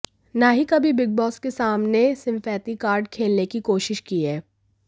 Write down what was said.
ना ही कभी बिग बॅास के सामने सिंपेथी कार्ड खेलने की कोशिश की है